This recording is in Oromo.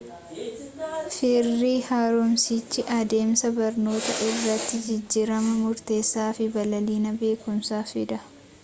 firii haaromsichi adeemsa barnootaa irratti jijjiirama murteessaa fi babal'ina beekumsaa fida